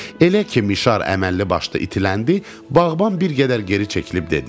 Elə ki mişar əməlli başlı itiləndi, bağban bir qədər geri çəkilib dedi.